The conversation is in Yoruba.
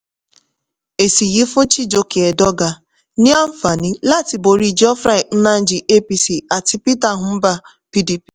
èsì yìí fún chijoke edoga ní àǹfààní láti borí geoffrey nnaji apc àti peter mbah pdp.